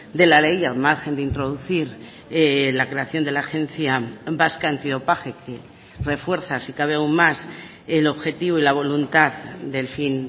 de la ley al margen de introducir la creación de la agencia vasca antidopaje que refuerza si cabe aún más el objetivo y la voluntad del fin